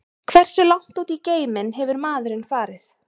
Hversu langt út í geiminn hefur maðurinn farið?